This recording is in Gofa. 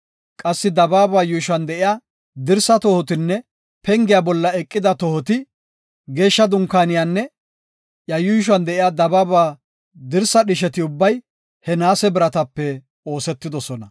Qassi dabaaba yuushuwan de7iya dirsaa tohotinne pengiya bolla eqida tohoti, Geeshsha Dunkaaneynne iya yuushuwan de7iya dabaaba dirsaa dhisheti ubbay he naase biratape oosetidosona.